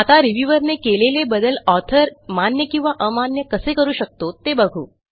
आता रिव्ह्यूअर ने केलेले बदल ऑथर मान्य किंवा अमान्य कसे करू शकतो ते बघू